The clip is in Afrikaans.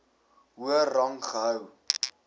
hoër rang gehou